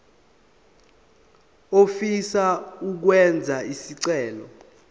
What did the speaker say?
ofisa ukwenza isicelo